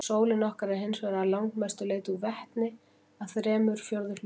Sólin okkar er hins vegar að langmestu leyti úr vetni, að þremur fjórðu hlutum.